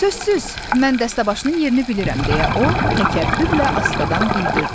Sözsüz, mən dəstəbaşının yerini bilirəm, deyə o təkəbbürlə astadan bildirdi.